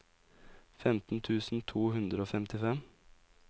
femten tusen to hundre og femtifem